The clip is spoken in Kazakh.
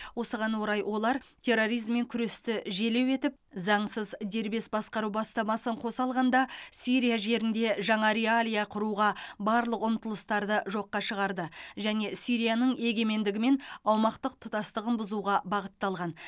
осыған орай олар терроризммен күресті желеу етіп заңсыз дербес басқару бастамасын қоса алғанда сирия жерінде жаңа реалия құруға барлық ұмтылыстарды жоққа шығарды және сирияның егемендігі мен аумақтық тұтастығын бұзуға бағытталған